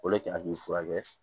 O de kɛ k'i furakɛ